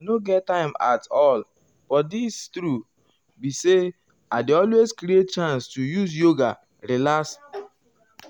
i nor get time at all but di truth be say um i dey always create um chance to use yoga take relax.